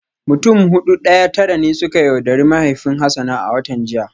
Mutum Hudu daya Tara ne suka yaudari mahaifin Hassan a watan jiya